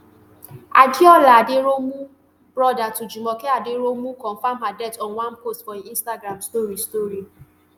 adeola aderounmu brother to jumoke aderounmu confam her death on one post for im instagram story story